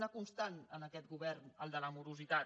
una constant en aquest govern el de la morositat